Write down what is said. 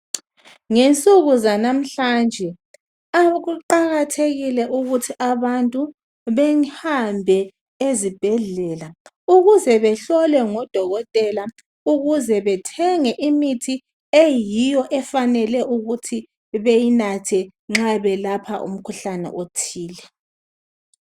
Ngensuku zanamhlanje kuqakathekile ukuthi abantu behambe ezibhedlela ukuze behlolwe ngodokotela ukuze bethenge imithi eyiyo efanele ukuthi beyinathe nxa benatha umkhuhlane othile.